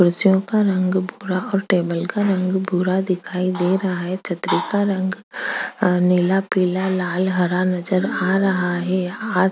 कुर्सियों का रंग भूरा और टेबल का रंग भूरा दिखाई दे रहा है छतरी का रंग अ नीला-पीला लाल हरा नज़र आ रहा है यहाँ आस--